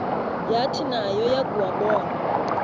yathi nayo yakuwabona